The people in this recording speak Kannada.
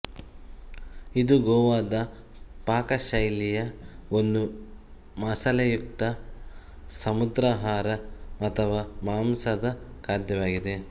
ಇದು ಗೋವಾದ ಪಾಕಶೈಲಿಯ ಒಂದು ಮಸಾಲೆಯುಕ್ತ ಸಮುದ್ರಾಹಾರ ಅಥವಾ ಮಾಂಸದ ಖಾದ್ಯವಾಗಿದೆ